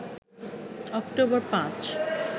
October ৫